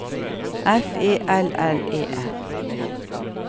F E L L E R